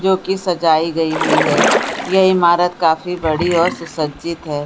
जो की सजाई गई हुई है यह इमारत काफी बड़ी और सुसज्जित है ।